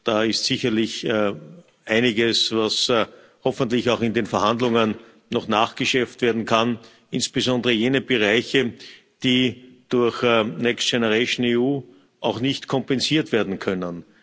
Da ist sicherlich einiges, was hoffentlich auch in den Verhandlungen noch nachgeschärft werden kann, insbesondere jene Bereiche, die durch Next Generation EU auch nicht kompensiert werden können.